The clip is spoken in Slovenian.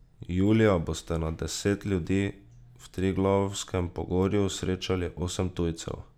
Julija boste na deset ljudi v Triglavskem pogorju srečali osem tujcev.